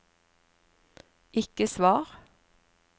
ikke svar